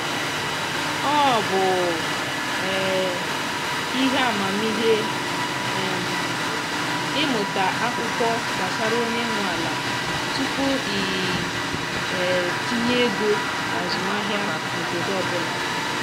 ọ bụ um ihe amamihe um ịmụta akwụkwọ gbasara onye nwe ala tupu i um tinye ego na azụmahịa n’obodo ọbụla